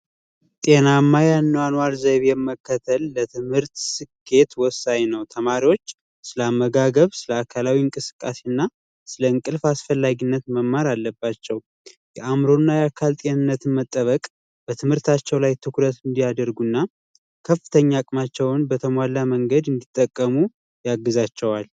ጤናማ የአኗኗር ዘይቤ መከተል ለትምህርት ውጤታማነት ወሳኝ ነው። የአካላዊ እንቅስቃሴና ስለ እንቅልፍ አስፈላጊነት መማር አለባቸው፤ የአዕምሮና የአካል መጠበቅ በትምህርታቸው ላይ ትኩረት እንዲያደርጉና ከፍተኛ አቅማቸውን እንዲጠቀሙ ያግዛቸዋል።